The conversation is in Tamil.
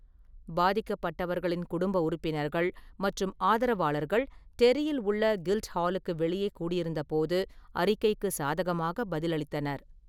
பாதிக்கப்பட்டவர்களின் குடும்ப உறுப்பினர்கள் மற்றும் ஆதரவாளர்கள் டெர்ரியில் உள்ள கில்ட்ஹாலுக்கு வெளியே கூடியிருந்தபோது, ​​அறிக்கைக்கு சாதகமாக பதிலளித்தனர்.